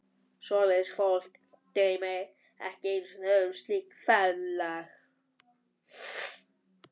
Svoleiðis fólk dreymir ekki einu sinni um slíkt ferðalag.